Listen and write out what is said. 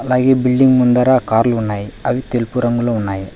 అలాగే బిల్డింగ్ ముందర కార్లు ఉన్నాయి అవి తెలుపు రంగులో ఉన్నాయి.